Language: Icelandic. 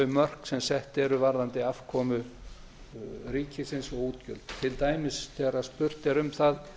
mörk sem sett eru varðandi afkomu ríkisins og útgjöld til dæmis þegar spurt er um það